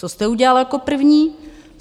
Co jste udělali jako první?